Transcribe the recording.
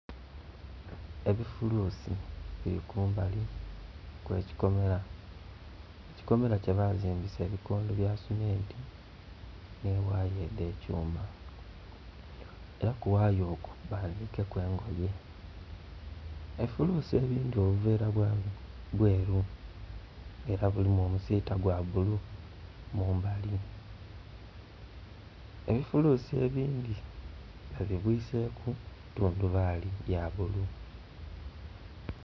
Ebifuluusi bili kumbali kw'ekikomera, ekikomera kyebazimbisa ebikondo bya seminti, nhi waya edh'ekyuma. Era ku waya okwo bayanike ku engoye. Ebifuluusi ebindhi obuveera bweru era bulimu omusiita gwa bulu mumbali. Ebifuluusi ebindi babibwiseku tundubaali ya bulu.